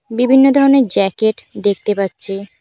বিভিন্ন ধরনের জ্যাকেট দেখতে পাচ্ছি।